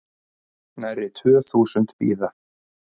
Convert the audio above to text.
Nærri tvö þúsund bíða